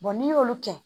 n'i y'olu kɛ